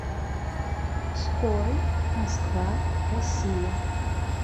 скорый москва россия